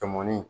Tɔmɔni